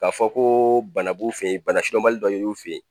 K'a fɔ ko bana b'u fɛ ye bana sidɔnbali dɔ yer'u fɛ ye.